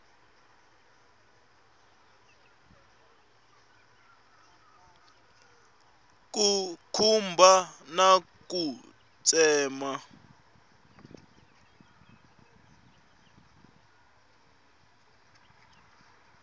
ku khumba na ku tsema